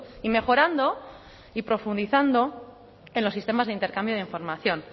y mejorando y profundizando en los sistemas de intercambio de información